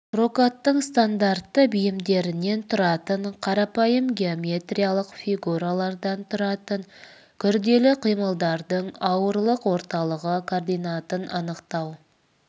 прокаттың стандартты бейіндерінен тұратын қарапайым геометриялық фигуралардан тұратын күрделі қималардың ауырлық орталығы координатын анықтау